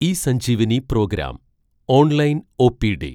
eSanjeevani program online OPD